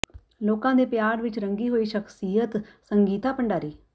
ਲੋਕਾਂ ਦੇ ਪਿਆਰ ਵਿੱਚ ਰੰਗੀ ਹੋਈ ਸ਼ਖਸੀਅਤ ਸੰਗੀਤਾ ਭੰਡਾਰੀ